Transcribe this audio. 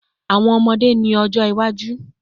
Awọn ọmọde ni ojo iwaju